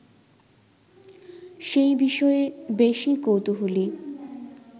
সেই বিষয়ে বেশি কৌতূহলী